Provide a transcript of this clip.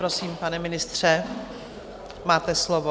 Prosím, pane ministře, máte slovo.